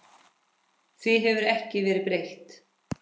Því hefur ekki verið breytt.